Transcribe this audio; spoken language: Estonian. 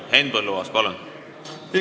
Henn Põlluaas, palun!